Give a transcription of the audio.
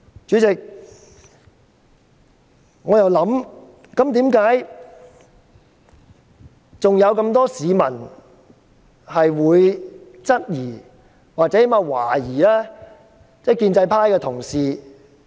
主席，為何還有很多市民質疑或懷疑建制派的同事？